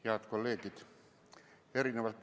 Head kolleegid!